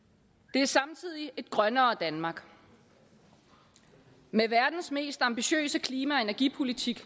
det er samtidig et grønnere danmark med verdens mest ambitiøse klima og energipolitik